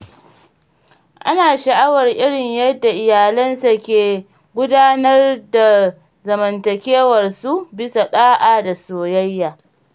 Ana sha'awar irin yadda iyalansa ke gudanar da zamantakewarsu bisa ɗa'a da soyayya.